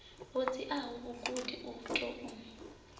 ho dziaho mugudi u tou